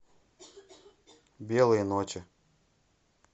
белые ночи